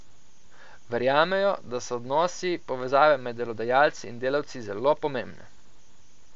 Verjamejo, da so odnosi, povezave med delodajalci in delavci zelo pomembne.